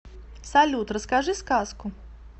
салют расскажи сказку